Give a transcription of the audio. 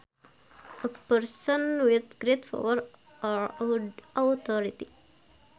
A person with great power or authority